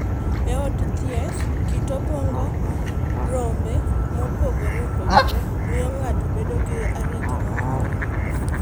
E od thieth, kit abwog rombe mopogore opogore miyo ng’ato bedo gi arita mopogore opogore.